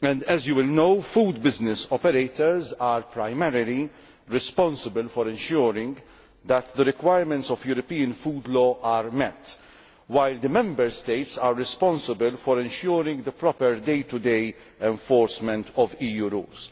As you will know, food business operators are primarily responsible for ensuring that the requirements of European food law are met, while Member States are responsible for ensuring the proper day to day enforcement of EU rules.